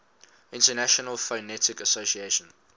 international phonetic association